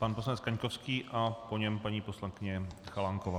Pan poslanec Kaňkovský a po něm paní poslankyně Chalánková.